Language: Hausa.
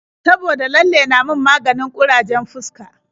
Saboda lalle na min maganin ƙurajen fuska.